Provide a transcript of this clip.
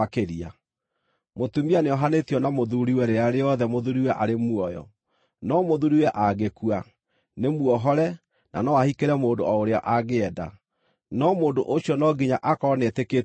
Mũtumia nĩohanĩtio na mũthuuriwe rĩrĩa rĩothe mũthuuriwe arĩ muoyo. No mũthuuriwe angĩkua, nĩmuohore na no ahikĩre mũndũ o ũrĩa angĩenda, no mũndũ ũcio no nginya akorwo nĩetĩkĩtie Mwathani.